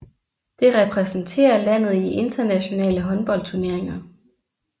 Det repræsenterer landet i internationale håndboldturneringer